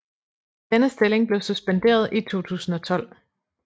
Denne stilling blev suspenderet i 2012